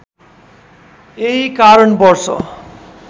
यही कारण वर्ष